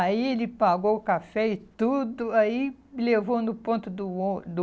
Aí ele pagou o café e tudo, aí me levou no ponto do ô do